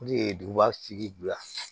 O de ye duguba sigi bila